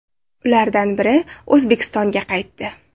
Ulardan biri O‘zbekistonga qaytdi.